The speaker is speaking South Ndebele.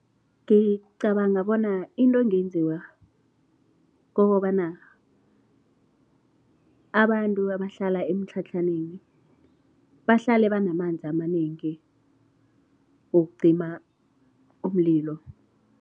Ngicabanga bona into engenziwa kukobana abantu abahlala emitlhatlhaneni, bahlale banamanzi amanengi wokucima umlilo.